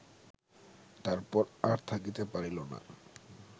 তারপর আর থাকিতে পারিল না